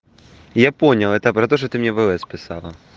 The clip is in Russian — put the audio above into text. я понял это про то что ты мне в лс писала